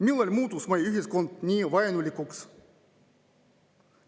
Millal muutus meie ühiskond nii vaenulikuks?